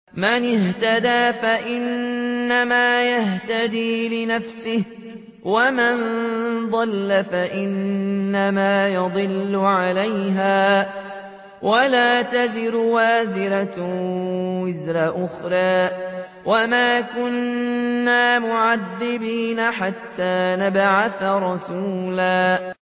مَّنِ اهْتَدَىٰ فَإِنَّمَا يَهْتَدِي لِنَفْسِهِ ۖ وَمَن ضَلَّ فَإِنَّمَا يَضِلُّ عَلَيْهَا ۚ وَلَا تَزِرُ وَازِرَةٌ وِزْرَ أُخْرَىٰ ۗ وَمَا كُنَّا مُعَذِّبِينَ حَتَّىٰ نَبْعَثَ رَسُولًا